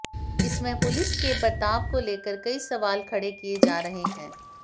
इसमें पुलिस के बर्ताव को लेकर कई सवाल खड़े किए जा रहे हैं